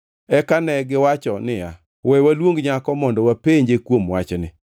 Eka negiwacho niya, “We waluong nyako mondo wapenje kuom wachni.”